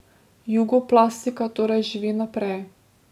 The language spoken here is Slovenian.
Jugoplastika torej živi naprej.